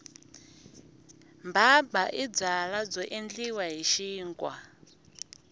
mbhambha i byala byo endliwa hi xinkwa